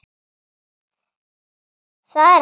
Það er ekki nóg.